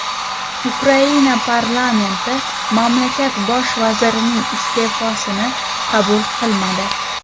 Ukraina parlamenti mamlakat bosh vazirining iste’fosini qabul qilmadi.